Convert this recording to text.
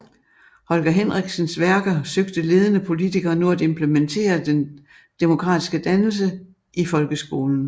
Holger Henriksens værker søgte ledende politikere nu at implementere den demokratiske dannelse i folkeskolen